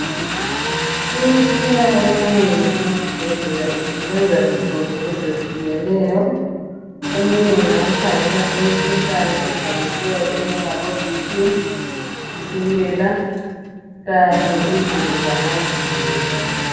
Imitshina eminengi esibhedlela isebenza izinto ezehlukeneyo eminye ngeyokukhangela imikhuhlane evamileyo enjengabo Bp, tshukela kanye even lamazinyo.